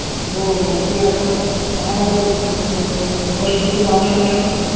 हो हो ते आता महामारी होती त थोडा त जीव त जानारच आहे न